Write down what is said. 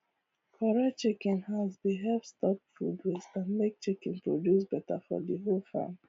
correct chicken house dey help stop food waste and make chicken produce better for the whole farm